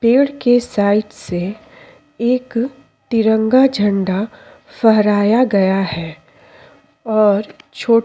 पेड़ के साइड से एक तिरंगा झंडा फहराया गया है और छोट --